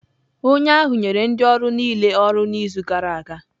Onye ahụ nyere ndị ọrụ niile ọrụ n'izu gara aga.